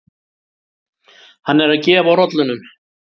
Hann er að gefa rollunum.